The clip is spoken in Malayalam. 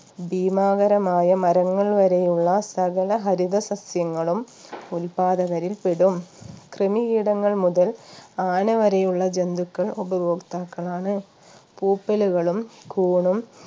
ഭീമാകരമായ മരങ്ങൾ വരെയുള്ള സകല ഹരിത സസ്യങ്ങളും ഉത്പാദകരിൽ പെടും കൃമികീടങ്ങൾ മുതൽ ആന വരെയുള്ള ജന്തുക്കൾ ഉപഭോക്താക്കളാണ് പൂപ്പലുകളും കൂണും